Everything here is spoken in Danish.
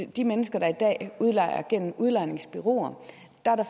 de mennesker der i dag udlejer gennem udlejningsbureauer